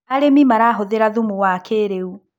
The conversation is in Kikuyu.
arĩmi marahuthira thumu wa kĩiriu